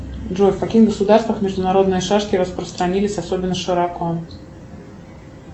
джой в каких государствах международные шашки распространились особенно широко